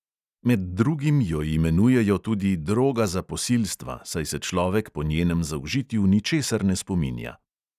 Med drugim jo imenujejo tudi "droga za posilstva", saj se človek po njenem zaužitju ničesar ne spominja.